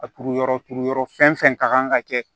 A turu yɔrɔ turu yɔrɔ fɛn fɛn ka kan ka kɛ